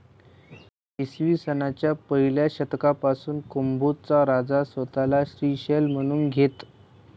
इसवीसनाच्या पहिल्या शतकापासून कुंभोज चा राजा स्वतःला श्रीशैल म्हणून घेत